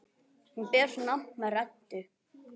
Hún ber nafn með rentu.